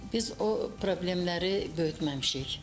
Biz o problemləri böyütməmişik.